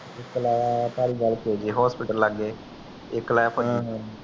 ਇਕ ਲਾਯਾ ਧਾਲੀਵਾਲ ਹੌਸਪੀਟਲ ਲਗੇ ਇਕ ਲਾਯਾ